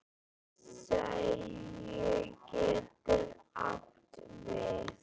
Skagi getur átt við